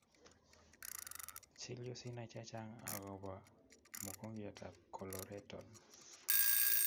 Chill yuu sinai chechang akobaa mogongiot ab coloretal